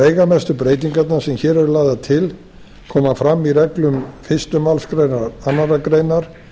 veigamestu breytingarnar sem hér eru lagðar til koma fram í reglum fyrstu málsgrein annarrar greinar